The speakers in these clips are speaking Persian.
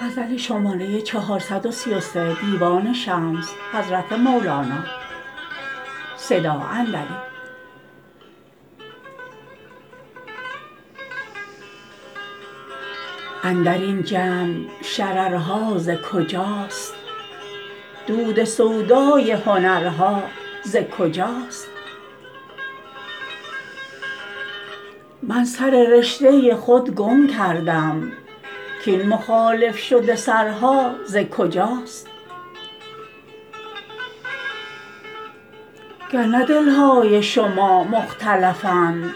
اندر این جمع شررها ز کجاست دود سودای هنرها ز کجاست من سر رشته خود گم کردم کاین مخالف شده سرها ز کجاست گر نه دل های شما مختلفند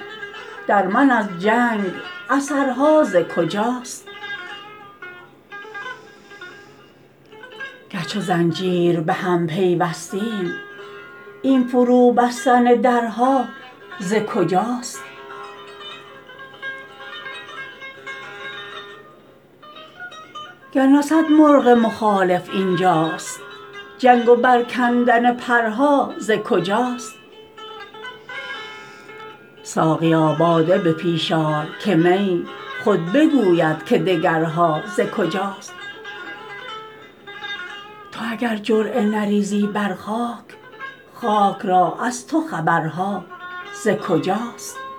در من از جنگ اثرها ز کجاست گر چو زنجیر به هم پیوستیم این فروبستن درها ز کجاست گر نه صد مرغ مخالف این جاست جنگ و برکندن پرها ز کجاست ساقیا باده به پیش آر که می خود بگوید که دگرها ز کجاست تو اگر جرعه نریزی بر خاک خاک را از تو خبرها ز کجاست